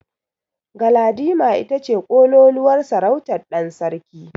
Galadima ita ce ƙololuwar sarautar ɗan sarki.